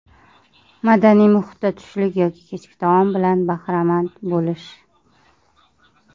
Madaniy muhitda tushlik yoki kechki taom bilan bahramand bo‘lish.